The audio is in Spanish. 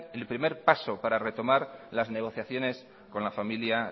el primer paso para retomar las negociaciones con la familia